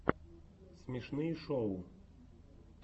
смешные шоу